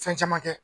Fɛn caman kɛ